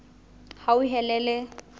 hauhelele